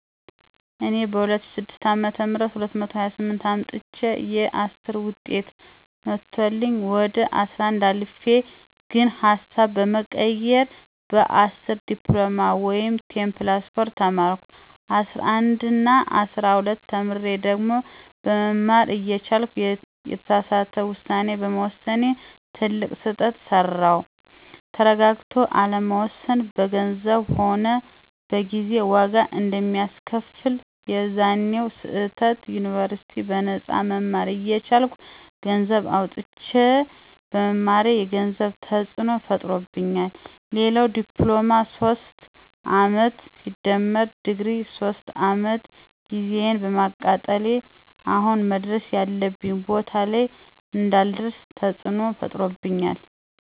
እኔ በ2006 አ /ም 228 አምጥቸየ 10ዉጤት መቶልኝ ወደ 11 አልፌ ግን ሀሳብ በመቀየር በ10 ዲፕሎማ ወይም10+4 ተማርኩ። 11እና 12ተምሬ ድግሪ መማር እየቻልኩ የተሳሳተ ዉሳኔ በመወሰኔ ትልቅ ስህተት ሰራዉ። ተረጋግቶ አለመወሰን በገንዘብም ሆነ በጊዜ ዋጋ አንደሚያስከፍል፦ የዛኔዉ ስህተት ዩኒበርሲቲ በነጳ መማር እየቻልኩ ገነሰዘብ አዉጥቸ በመማሬ የገንዘብ ተፅዕኖ ፈጥሮብኛል፣ ሌላዉ ለዲፕሎማ 3 አመት+ለድግሪ 3 አመት ጊዜየን በማቃጠሌ አሁን መድረስ ያለብኝ ቦታ ላይ እንዳልደርሰ ተፅዕኖ ፈጥሮብኛል